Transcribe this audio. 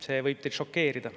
See võib teid šokeerida.